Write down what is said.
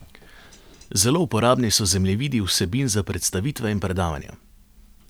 Zelo uporabni so zemljevidi vsebin za predstavitve in predavanja.